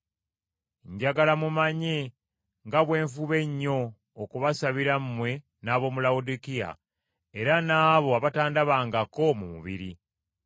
Njagala mumanye nga bwe nfuba ennyo okubasabira mmwe n’ab’omu Lawodikiya, era n’abo abatandabangako mu mubiri.